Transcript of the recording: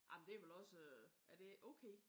Jamen det er vel også øh er det ikke okay?